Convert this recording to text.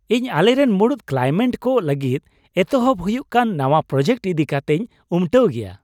ᱤᱧ ᱟᱞᱮᱨᱮᱱ ᱢᱩᱬᱩᱫ ᱠᱚᱞᱟᱭᱢᱮᱱᱴ ᱠᱚ ᱞᱟᱹᱜᱤᱫ ᱮᱛᱚᱦᱚᱵ ᱦᱩᱭᱩᱜ ᱠᱟᱱ ᱱᱟᱣᱟ ᱯᱨᱳᱡᱮᱠᱴ ᱤᱫᱤ ᱠᱟᱛᱮᱧ ᱩᱢᱴᱟᱹᱣ ᱜᱮᱭᱟ ᱾